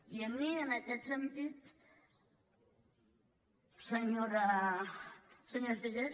i a mi en aquest sentit senyora figueras